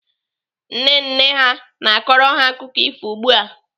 Nne nne ha na-akọrọ ha akụkọ ifo ugbu a.